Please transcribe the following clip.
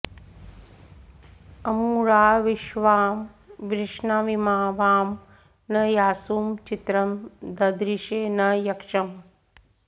अमू॑रा॒ विश्वा॑ वृषणावि॒मा वां॒ न यासु॑ चि॒त्रं ददृ॑शे॒ न य॒क्षम्